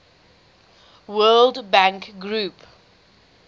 world bank group